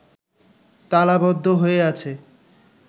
তালাবদ্ধ হয়ে আছে